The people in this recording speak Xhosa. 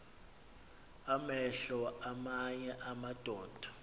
amehlo aamanye amadoda